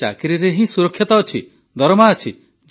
ଆରେ ଚାକିରିରେ ହିଁ ତ ସୁରକ୍ଷା ଅଛି ଦରମା ଅଛି